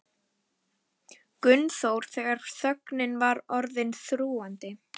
Gunnþór þegar þögnin var orðin þrúgandi.